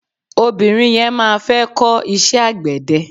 Obìnrin yẹn má fẹ́ kó iṣẹ́ àgbẹ̀dẹ.